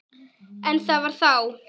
En það var þá.